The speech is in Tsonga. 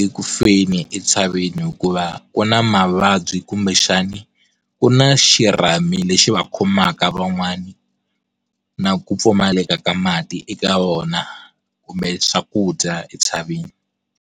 ekufeni entshaveni hikuva ku na mavabyi kumbexani ku na xirhami lexi va khomaka van'wana na ku pfumaleka ka mati eka vona kumbe swakudya entshaveni.